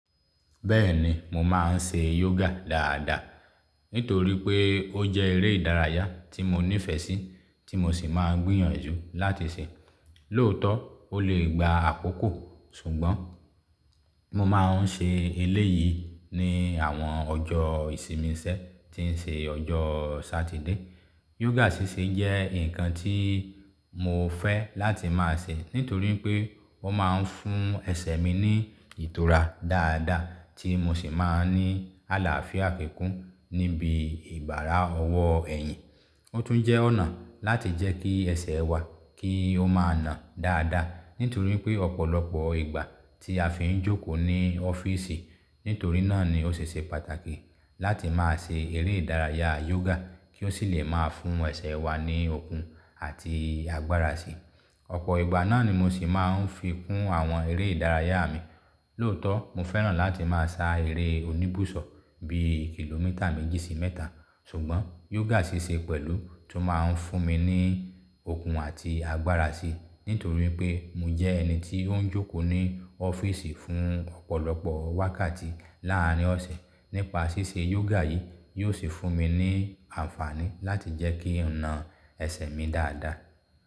Bẹ́ẹ̀ni, mo máa ń ṣe yoga dáadáa, nítorí pé ó jẹ́ eré ìdárayá tí mo nífẹ̀ẹ́ sí tí mo sì máa ń gbìyànjú láti ṣe. Lóòótọ́, ó lè gba àkókò, ṣùgbọ́n mo máa ń ṣe eléyìí ní àwọn ọjọ́ ìsinmi ìṣẹ́ tí ń ṣe ọjọ́ Satide. Yoga ṣíṣe jẹ́ nǹkan tí mo fẹ́ láti máa ṣe, nítorí pé wọ́n máa ń fún ẹsẹ̀ mi ní ìtura dáadáa tí mo sì máa ń ní àlàáfíà kíkún níbi ìbára ọwọ́ ẹ̀yìn. Ó tún jẹ́ ọ̀nà láti jẹ́ kí ẹsẹ̀ wa kí ó máa nà dáadáa, nítorí pé ọ̀pọ̀lọpọ̀ ìgbà tí a fi ń jókòó ní ọ́fíìsì. Nítorí náà ni ó ṣe ṣe pàtàkì láti máa ṣe eré ìdárayá yoga kí ó sì lè máa fún ẹsẹ̀ wa ní okun àti agbára sí i. Ọ̀pọ̀ ìgbà náà ni mo sì máa ń fi kún àwọn eré ìdárayá mi. Lóòótọ́, mo fẹ́ràn láti máa sá eré oníbùsọ̀ bí i kìlómítà méjì sí mẹ́ta, ṣùgbọ́n yoga ṣíṣe pẹ̀lú tó máa ń fún mi ní okun àti agbára sí i, nítorí pé mo jẹ́ ẹni tí ó ń jókòó ní ọ́fíìsì fún ọ̀pọ̀lọpọ̀ wákàtí láàárín ọ̀sẹ̀. Nípa ṣíṣe yoga yìí, yóò sì fún mi ní àǹfààní láti jẹ́ kí ọ̀nà ẹsẹ̀ mi dáadáa.